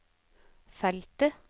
feltet